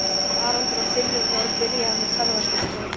Haraldur og Finnur voru byrjaðir með ferðaskrifstofu.